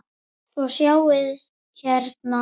Og sjáið hérna!